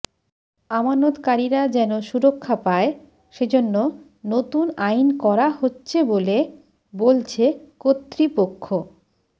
আমানতকারীরা যেন সুরক্ষা পায় সেজন্য নতুন আইন করা হচ্ছে বলে বলছে কর্তৃপক্ষ